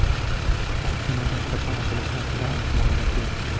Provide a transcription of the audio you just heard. Kanallar qachon ochilishi haqida aniq ma’lumot yo‘q.